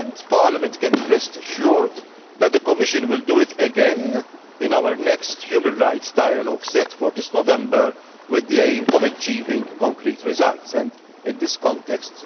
Parliament can rest assured that the Commission will do it again in our next human rights dialogue set for this November, with the aim of achieving concrete results and in this context.